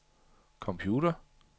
computer